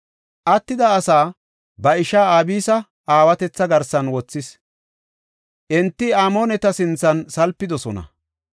Attida asaa ba ishaa Abisa aawatetha garsan wothis; enti Amooneta sinthan salpidosona.